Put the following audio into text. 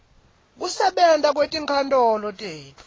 kusebenta kwetinkantolo tetfu